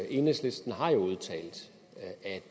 enhedslisten har udtalt